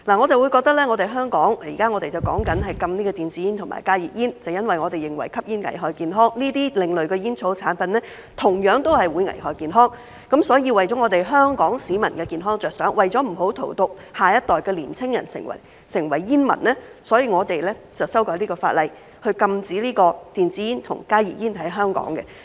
在香港，我們現在討論禁止電子煙和加熱煙，正因我們認為吸煙危害健康，而這些另類的煙草產品同樣會危害健康，所以為了香港市民的健康着想，為了不要荼毒下一代的年輕人成為煙民，所以我們修改這項法例，在香港禁止電子煙和加熱煙。